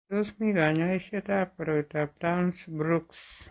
Tos mi kanyoisetab koroitoab Townes Brocks?